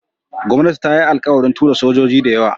Gwamnati ta yi alkawarin tura sojoji dayawa